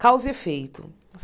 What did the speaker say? Causa e efeito.